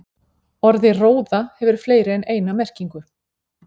Orðið róða hefur fleiri en eina merkingu.